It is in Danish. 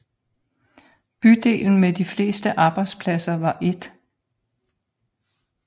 Bydelen med de fleste arbejdspladser var 1